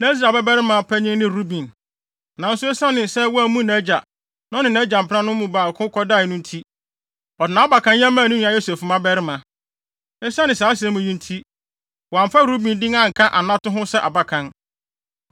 Na Israel babarima panyin ne Ruben. Nanso esiane sɛ wammu nʼagya, na ɔne nʼagya mpenanom no mu baako kɔdae no nti, ɔde nʼabakanyɛ maa ne nua Yosef mmabarima. Esiane saa asɛm yi nti, wɔamfa Ruben din anka anato no ho sɛ abakan.